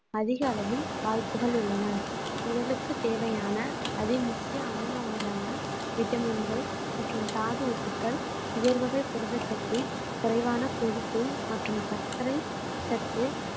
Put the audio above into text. அதிக அளவில் வாய்ப்புகள் உள்ளன உடலுக்குத் தேவையான அதி முக்கிய அமினோ அமிலங்கள் விட்டமின்கள் மற்றும் தாது உப்புக்கள் உயர்வகை புரதச் சத்து குறைவான கொழுப்பு மற்றும் சர்க்கரை சத்து